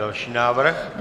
Další návrh?